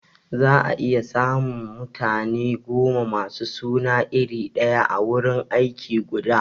Za a iya samun mutane goma masu suna iri daya a wurin aiki guda